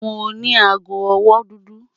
Mo ní àágọ̀-ọwọ́ dúdú.